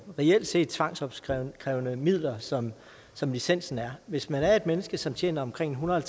reelt set tvangsopkrævede midler som som licensen er hvis man er et menneske som tjener omkring en hundrede og